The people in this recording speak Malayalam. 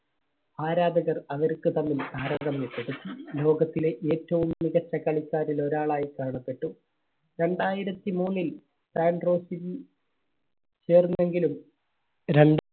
ആരാധകർ അവർക്ക് തമ്മിൽ ലോകത്തിലെ ഏറ്റവും മികച്ച കളിക്കാരിൽ ഒരാളായി കാണപ്പെട്ടു. രണ്ടായിരത്തി മൂന്നിൽ സാൻട്രോസിൽ ചേർന്നെങ്കിലും ര~